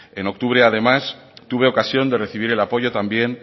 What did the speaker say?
en octubre además tuve ocasión de recibir el apoyo también